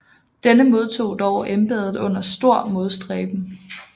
Denne modtog dog embedet under stor modstræben